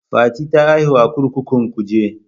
Fati ta haihu a kurkukun kuje.